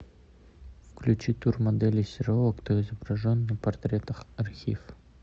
включи тур модели серова кто изображен на портретах архив